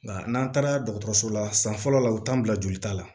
Nka n'an taara dɔgɔtɔrɔso la san fɔlɔ la u t'an bila jolita la